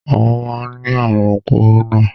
Àwọn máa ni àrùn kórónà.